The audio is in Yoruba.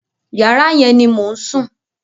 Yàrá yẹn ni mò ń sùn.